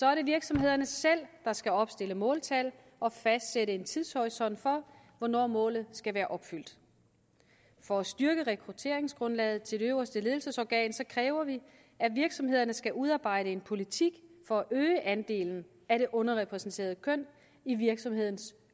er det virksomhederne selv der skal opstille måltal og fastsætte en tidshorisont for hvornår målet skal være opfyldt for at styrke rekrutteringsgrundlaget til det øverste ledelsesorgan kræver vi at virksomhederne skal udarbejde en politik for at øge andelen af det underrepræsenterede køn i virksomhedens